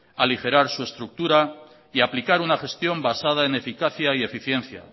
aligerar su estructura y aplicar una gestión basada en eficacia y eficiencia